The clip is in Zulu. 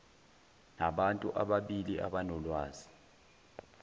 nabantu ababili abanolwazi